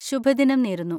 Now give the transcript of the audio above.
ശുഭ ദിനം നേരുന്നു!